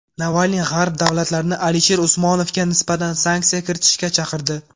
Navalniy G‘arb davlatlarini Alisher Usmonovga nisbatan sanksiya kiritishga chaqirdi.